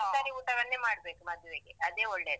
ತರ್ಕಾರಿ ಊಟವನ್ನೇ ಮಾಡ್ಬೇಕು ಮದ್ವೇಗೆ. ಅದೇ ಒಳ್ಳೇದು.